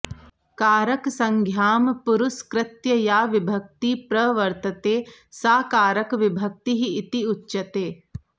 कारकसंज्ञां पुरस्कृत्य या विभक्तिः प्रवर्तते सा कारकविभक्तिः इति उच्यते